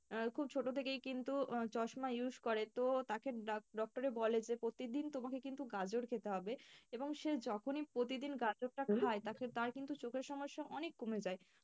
আহ খুব ছোট থেকেই কিন্তু চশমা use করে তো তাকে doctor এ বলে যে প্রতিদিন তোমাকে কিন্তু গাজর খেতে হবে এবং সে যখনই প্রতিদিন গাজরটা তাকে, তার কিন্তু চোখের সমস্যা অনেক কমে যায় ।